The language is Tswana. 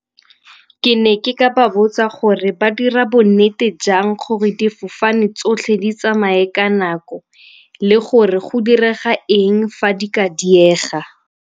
Ke ne ke ka ba botsa gore ba dira bonnete jang gore difofane tsotlhe di tsamaye ka nako le gore go direga eng fa di ka diega?